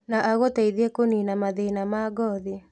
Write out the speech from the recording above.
Na agũteithie kũnina mathĩna ma ngothi